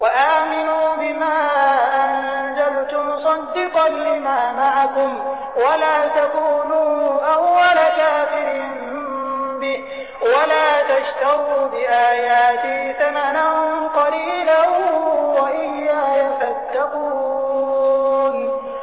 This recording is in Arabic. وَآمِنُوا بِمَا أَنزَلْتُ مُصَدِّقًا لِّمَا مَعَكُمْ وَلَا تَكُونُوا أَوَّلَ كَافِرٍ بِهِ ۖ وَلَا تَشْتَرُوا بِآيَاتِي ثَمَنًا قَلِيلًا وَإِيَّايَ فَاتَّقُونِ